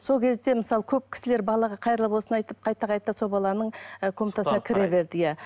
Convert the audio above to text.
сол кезде мысалы көп кісілер балаға қайырлы болсын айтып қайта қайта сол і баланың комнатасына кіре берді иә